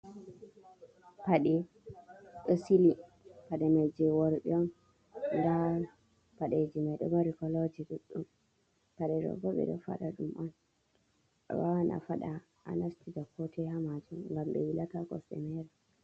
Paɗee ɗo sili, paɗe mai jei worɓe on, nada paɗeji mai ɗon maarii kooloji ɗuɗɗum. Paɗe ɗo bo ɓe ɗo faɗa ɗum on awawan a faɗa a nastira ko toi ha machin ngam ɗe wuulata kosɗe meere.